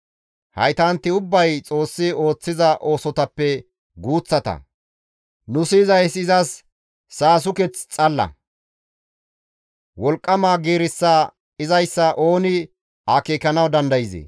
Haytanti ubbay Xoossi ooththiza oosotappe guuththata; nu siyizayssi izas saasuketh xalla; wolqqama giirissa izayssa ooni akeekanawu dandayzee?»